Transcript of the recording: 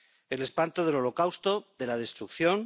El espanto del Holocausto, de la destrucción.